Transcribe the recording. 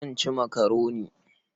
Zan ci makaroni.